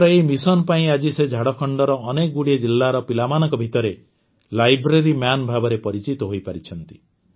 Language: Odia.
ତାଙ୍କର ଏହି ମିଶନପାଇଁ ଆଜି ସେ ଝାଡ଼ଖଣ୍ଡର ଅନେକଗୁଡ଼ିଏ ଜିଲ୍ଲାର ପିଲାମାନଙ୍କ ଭିତରେ ଲାଇବ୍ରେରୀ ମନ୍ ଭାବରେ ପରିଚିତ ହୋଇପାରିଛନ୍ତି